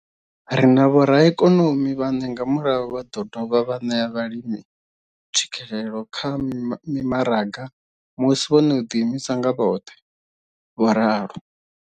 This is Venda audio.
Ri na vhoraikonomi vhane nga murahu vha ḓo dovha vha ṋea vhalimi tswikelelo kha mimaraga musi vho no ḓiimisa nga vhoṱhe, vho ralo.